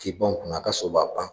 K'i pan o kunna a ka so b'a pan